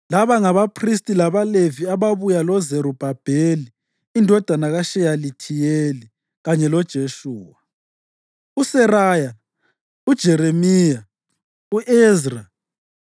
Laba ngabaphristi labaLevi ababuya loZerubhabheli indodana kaSheyalithiyeli kanye loJeshuwa: USeraya, uJeremiya, u-Ezra,